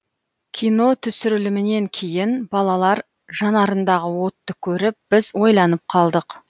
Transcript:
кино түсірілімінен кейін балалар жанарындағы отты көріп біз ойланып қалдық